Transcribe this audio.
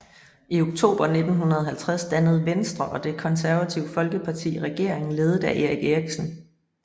I oktober 1950 dannede Venstre og Det Konservative Folkeparti regering ledet af Erik Eriksen